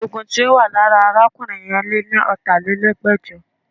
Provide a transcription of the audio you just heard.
Oògùn tí ó wà lára arákùnrin yẹn lé ní ọ̀tálelẹ́gbẹ́jọ